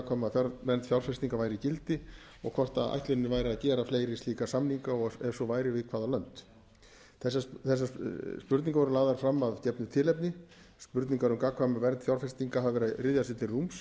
um gagnkvæma vernd fjárfestinga væru í gildi og hvort ætlunin væri að gera fleiri slíkra samninga og ef svo væri við hvaða lönd þessar spurningar voru lagðar fram að gefnu tilefni samningar um gagnkvæma vernd fjárfestinga hafa verið að ryðja sér til rúms